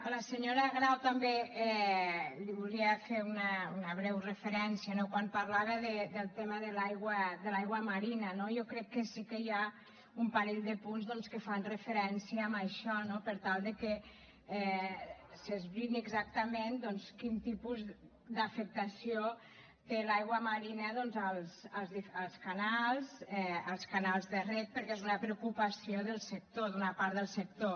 a la senyora grau també li volia fer una breu referència no quan parlava del tema de l’aigua marina no jo crec que sí que hi ha un parell de punts doncs que fan referència a això no per tal de que s’esbrini exactament quin tipus d’afectació té l’aigua marina als canals als canals de reg perquè és una preocupació del sector d’una part del sector